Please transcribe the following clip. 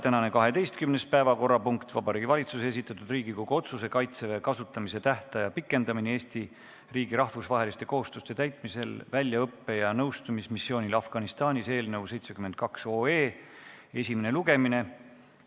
Tänane 12. päevakorrapunkt on Vabariigi Valitsuse esitatud Riigikogu otsuse "Kaitseväe kasutamise tähtaja pikendamine Eesti riigi rahvusvaheliste kohustuste täitmisel väljaõppe- ja nõustamismissioonil Afganistanis" eelnõu 72 esimene lugemine.